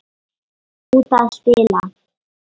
Út að spila.